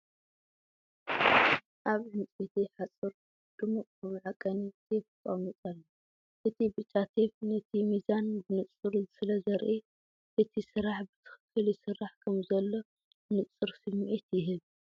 ኣብ ዕንጨይቲ ሓጹር ድሙቕ መዐቀኒ ቴፕ ተቐሚጡ ኣሎ። እቲ ብጫ ቴፕ ነቲ ሚዛን ብንጹር ስለ ዘርኢ፡ እቲ ስራሕ ብትኽክል ይስራሕ ከምዘሎ ንጹር ስምዒት ይህብ።